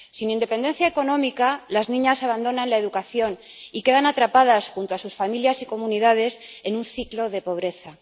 Sin independencia económica, las niñas abandonan la educación y quedan atrapadas, junto a sus familias y comunidades, en un ciclo de pobreza.